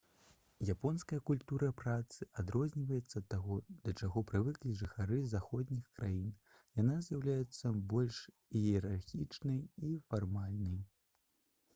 японская культура працы адрозніваецца ад таго да чаго прывыклі жыхары заходніх краін яна з'яўляецца больш іерархічнай і фармальнай